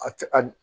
A tɛ a